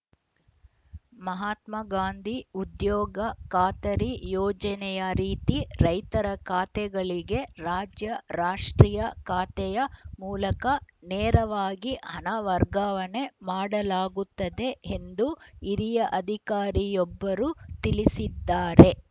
ಮಹಾತ್ಮಾಗಾಂಧಿ ಉದ್ಯೋಗ ಖಾತರಿ ಯೋಜನೆಯ ರೀತಿ ರೈತರ ಖಾತೆಗಳಿಗೆ ರಾಜ್ಯ ರಾಷ್ಟ್ರೀಯ ಖಾತೆಯ ಮೂಲಕ ನೇರವಾಗಿ ಹಣ ವರ್ಗಾವಣೆ ಮಾಡಲಾಗುತ್ತದೆ ಎಂದು ಹಿರಿಯ ಅಧಿಕಾರಿಯೊಬ್ಬರು ತಿಳಿಸಿದ್ದಾರೆ